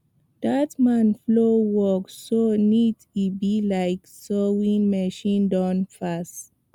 that man plow work so neat e be like sewing machine don pass